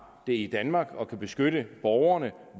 det i danmark kapaciteten til at kunne beskytte borgerne